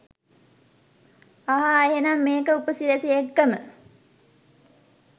අහා එහෙනම් මේක උපසිරැසි එක්කම